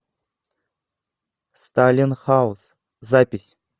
сталин хаус запись